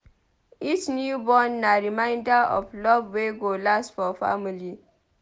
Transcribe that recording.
Each newborn na reminder of love wey go last for family.